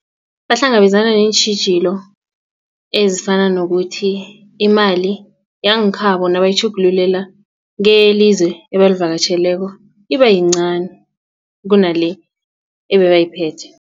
Bahlangabezana neentjhijilo ezifana nokuthi imali yangekhabo nabayitjhugululela keyelizwe ebalivakatjheleko iba yincani kunale ebebayiphethe.